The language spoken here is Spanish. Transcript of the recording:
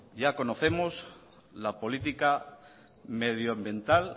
ya conocemos la política medioambiental